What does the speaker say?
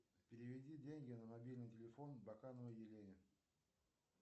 переведи деньги на мобильный телефон бакановой елене